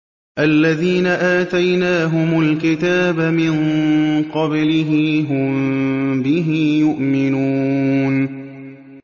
الَّذِينَ آتَيْنَاهُمُ الْكِتَابَ مِن قَبْلِهِ هُم بِهِ يُؤْمِنُونَ